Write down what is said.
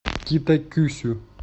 китакюсю